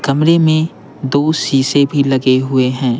कमरे में दो शीशे भी लगे हुए हैं।